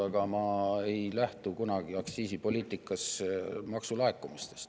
Aga ma ei lähtu aktsiisipoliitikas kunagi maksulaekumistest.